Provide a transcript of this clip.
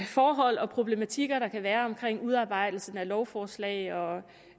forhold og problematikker der kan være omkring udarbejdelsen af lovforslag og